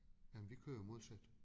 Jamen vi kører jo modsat